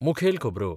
मुखेल खबरो